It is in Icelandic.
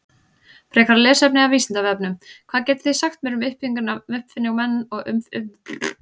Frekara lesefni af Vísindavefnum: Hvað getið þið sagt mér um uppfinningamenn og uppfinningar Forngrikkja?